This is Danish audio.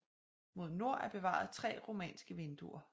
Mod nord er bevaret tre romanske vinduer